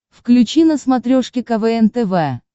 включи на смотрешке квн тв